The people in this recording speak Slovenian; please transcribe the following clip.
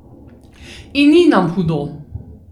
In ni nam hudo.